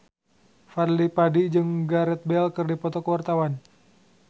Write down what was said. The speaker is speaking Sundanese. Fadly Padi jeung Gareth Bale keur dipoto ku wartawan